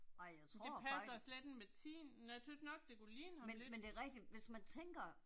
Men det passer slet ikke med tiden, jeg tøvs nok det kunne ligne ham lidt